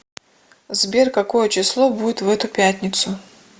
сбер какое число будет в эту пятницу